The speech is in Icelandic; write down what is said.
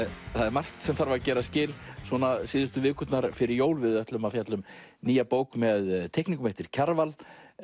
margt sem þarf að gera skil síðustu vikurnar fyrir jól við ætlum að fjalla um nýja bók með teikningum eftir Kjarval